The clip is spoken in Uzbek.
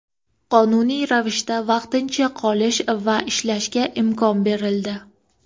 qonuniy ravishda vaqtincha qolish va ishlashga imkon berildi.